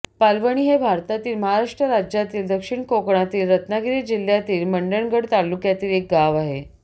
पालवणी हे भारतातील महाराष्ट्र राज्यातील दक्षिण कोकणातील रत्नागिरी जिल्ह्यातील मंडणगड तालुक्यातील एक गाव आहे